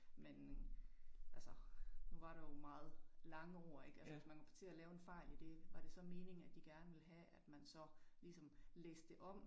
Men altså nu var der jo meget lange ord ik, altså hvis man kommer til at lave en fejl i det var det så meningen at de gerne ville have at man så ligesom læste det om